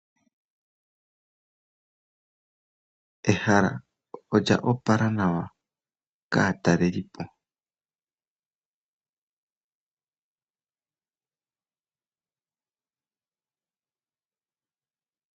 Ehala olya opala nawa kaatalelipo .